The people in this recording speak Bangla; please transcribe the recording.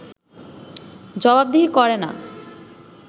জবাবদিহি করে না